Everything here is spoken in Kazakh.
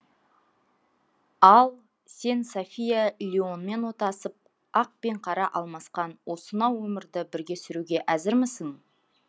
ал сен софья леонмен отасып ақ пен қара алмасқан осынау өмірді бірге сүруге әзірмісің